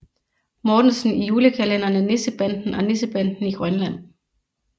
Mortensen i julekalenderne Nissebanden og Nissebanden i Grønland